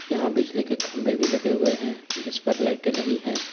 यहां बिजली के खंभे भी लगे हुए हैं जिसपर लाइटे लगी हैं।